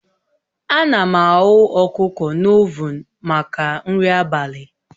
Ana m aghụ ọkụkọ na ovuun maka nri abalị